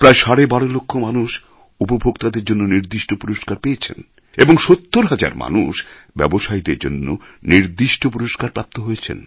প্রায় সাড়ে বারো লক্ষ মানুষ উপভোক্তাদের জন্য নির্দিষ্ট পুরস্কার পেয়েছেন এবং সত্তর হাজার মানুষ ব্যবসায়ীদের জন্য নির্দিষ্ট পুরস্কার প্রাপ্ত হয়েছেন